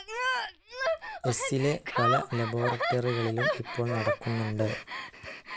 എസ്സിലെ പല ലബോറട്ടറികളിലും ഇപ്പോൾ നടക്കുന്നുണ്ട്.